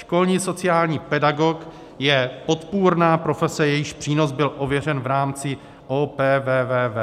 Školní sociální pedagog je podpůrná profese, jejíž přínos byl ověřen v rámci OPVVV,